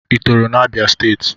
Ị tọrọ na Abia steeti?